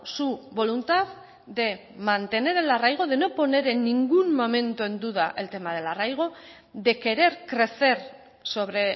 su voluntad de mantener el arraigo de no poner en ningún momento en duda el tema del arraigo de querer crecer sobre